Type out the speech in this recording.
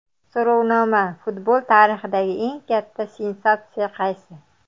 So‘rovnoma: Futbol tarixidagi eng katta sensatsiya qaysi?.